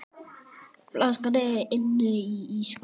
Flaskan er inni í ísskáp.